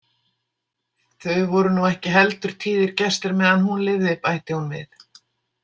Þau voru nú ekki heldur tíðir gestir meðan hún lifði, bætti hún við.